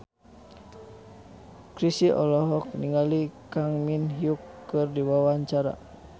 Chrisye olohok ningali Kang Min Hyuk keur diwawancara